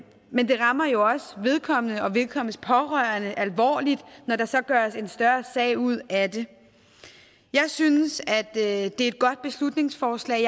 men det rammer jo også vedkommende og vedkommendes pårørende alvorligt når der så gøres en større sag ud af det jeg synes at det er et godt beslutningsforslag